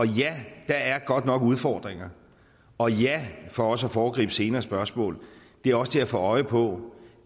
ja der er godt nok udfordringer og ja for også at foregribe senere spørgsmål det er også til at få øje på